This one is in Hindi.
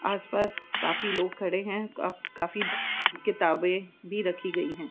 आसपास काफी लोग खड़े हैं का काफी किताबें भी रखी गई हैं।